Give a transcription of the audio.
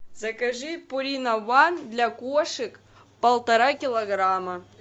закажи пурина ван для кошек полтора килограмма